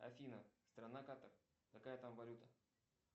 афина страна катар какая там валюта